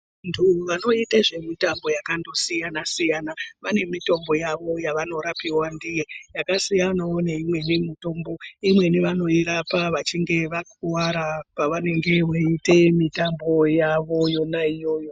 Vantu vanoita zvemitambo yakandosiyana siyana vane mitombo yavo yavanorapiwa ndiyo. Yakasiyana wo neimweni mitombo. Imweni vanoirapa vachinge vakuwara pavanenge veiita mitambo yavo yona iyoyo.